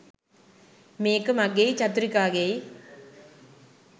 මේක මගෙයි චතුරිකාගෙයි